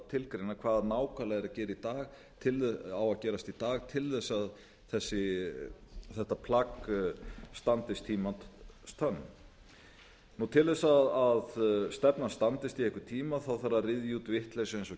tilgreina hvað nákvæmlega er að gerast í dag til þess að þetta plagg standist tímans tönn til þess að stefnan standist í einhvern tíma að að ryðja út vitleysu eins og